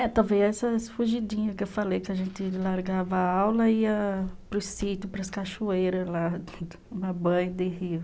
É, talvez essas fugidinhas que eu falei, que a gente largava a aula e ia para o sítio, para as cachoeiras lá, de rio.